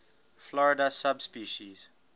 florida subspecies